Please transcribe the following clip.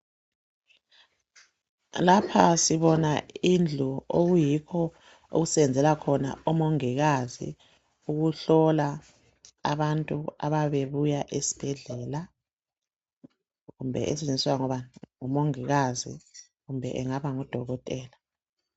Lapha sibona indlu okuyikho okusebenzela khona omongikazi ukuhlola abantu abayabe bebuya esibhedlela kumbe esetshenziswa ngomongikazi, kumbe engaba ngudokotela